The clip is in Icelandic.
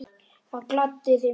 Það gladdi þig mjög.